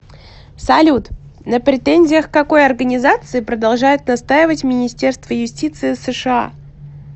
салют на претензиях к какой организации продолжает настаивать министерство юстиции сша